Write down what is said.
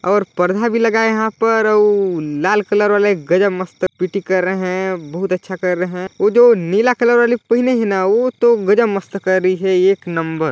और पर्दा भी लगा यहाँ पर ऊ लाल कलर वाले गजब मस्त पी _टी कर रहे हैं बहुत अच्छा कर रहे हैं वो जो नीला कलर वाली पहनी है ना वो तो गजब मस्त कर रही है एक नंबर।